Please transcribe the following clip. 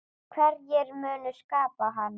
Hverjir munu skipa hana?